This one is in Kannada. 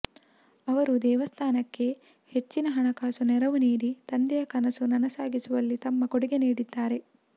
ಅವರು ದೇವಸ್ಥಾನಕ್ಕೆ ಹೆಚ್ಚಿನ ಹಣಕಾಸು ನೆರವು ನೀಡಿ ತಂದೆಯ ಕನಸು ನನಸಾಗಿಸುವಲ್ಲಿ ತಮ್ಮ ಕೊಡುಗೆ ನೀಡಿದ್ದಾರೆ